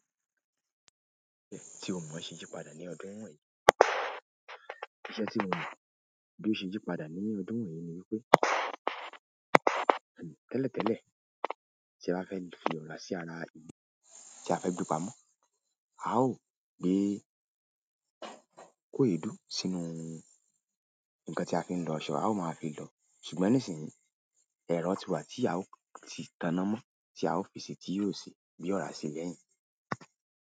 Tí o mọ̀ ṣe yí padà ní ọdún wọ̀nyí, iṣẹ́ tí mo mọ̀ bí ó ṣe yí padà nínú ọdún wọ̀nyí ni wípé, tẹ́lẹ̀tẹ́lẹ̀ tí a bá fẹ́ fi ọ̀rá sí ara ìlù tí a fẹ́ gbé pamọ́, a ó gbé é, kó èédú sínú ǹkan tí a fi ń lọṣọ, a ó máa fi lọ̀ọ́. Ṣùgbọ́n ní ìsìnyí, ẹ̀rọ́ ti wà tí a ó ti taná mọ́ tí a ó fi si tí yóò sì gbé ọ̀rá si lẹ́yìn.